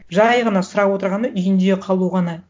жай ғана сұрап отырғаны үйінде қалу ғана